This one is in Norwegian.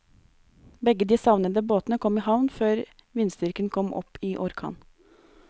Begge de savnede båtene kom i havn før vindstyrken kom opp i orkan.